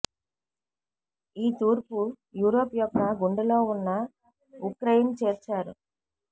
ఈ తూర్పు యూరోప్ యొక్క గుండె లో ఉన్న ఉక్రెయిన్ చేర్చారు